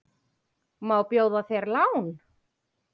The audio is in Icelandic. Má bjóða þér lán?